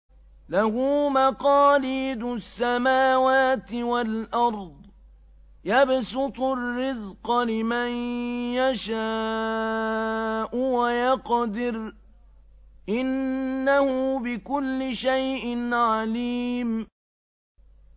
لَهُ مَقَالِيدُ السَّمَاوَاتِ وَالْأَرْضِ ۖ يَبْسُطُ الرِّزْقَ لِمَن يَشَاءُ وَيَقْدِرُ ۚ إِنَّهُ بِكُلِّ شَيْءٍ عَلِيمٌ